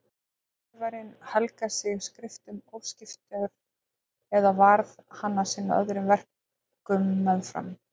Gat skrifarinn helgað sig skriftum óskiptur eða varð hann að sinna öðrum verkum meðfram?